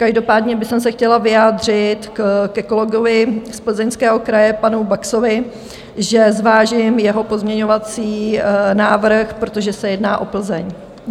Každopádně bych se chtěla vyjádřit ke kolegovi z Plzeňského kraje panu Baxovi, že zvážím jeho pozměňovací návrh, protože se jedná o Plzeň.